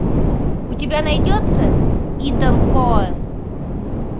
у тебя найдется итан коэн